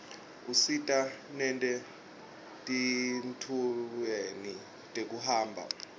usita nete tintfueni tekuhamba